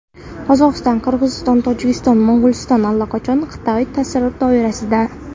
Qozog‘iston, Qirg‘iziston, Tojikiston, Mo‘g‘uliston allaqachon Xitoy ta’sir doirasida.